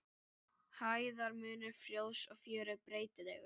Hæðarmunur flóðs og fjöru er breytilegur.